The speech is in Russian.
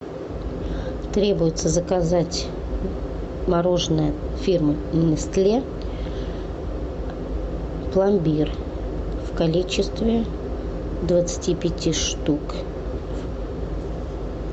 требуется заказать мороженое фирмы нестле пломбир в количестве двадцати пяти штук